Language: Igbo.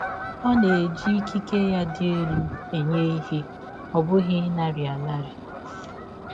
Ọ na-eji ikike ya dị elụ enye ihe, ọ bụghị ịnara anara